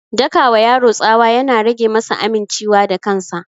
Daka wa yaro tsawa ya na rage masa aminciwa da kansa